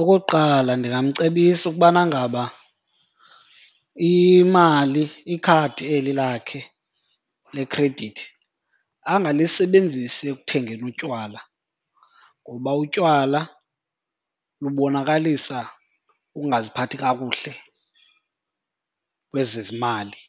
Okokuqala ndingamcebisa ukubana ngaba imali, ikhadi eli lakhe lekhredithi angalisebenzisi ekuthengeni utywala ngoba utywala lubonakalisa ukungaziphathi kakuhle lwezezimali.